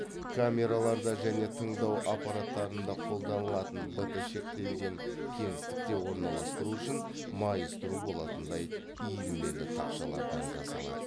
камераларда және тыңдау аппараттарында қолданылатын бт шектелген кеңістікте орналастыру үшін майыстыру болатындай иілмелі тақшалардан жасалады